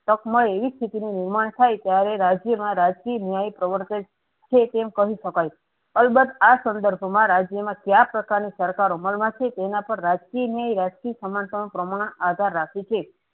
તક મળે એવી સ્થિતિ નું નિર્માણ થાય ત્યારે રાજ્યમાં રાજકીય ન્યાય પ્રવર્તે છે. તેમ કહી શકાય અલબત્ત આ સંદર્ભમાં રાજ્યમાં કાયા પ્રકારની સરકાર અમલમાં છે તેમાં પર રાજકીય ન્યાય રાજકીય સમન્તા નું પ્રમાણ આધાર રાખે છે.